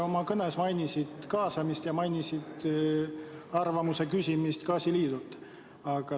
Oma kõnes sa mainisid kaasamist ja gaasiliidult arvamuse küsimist.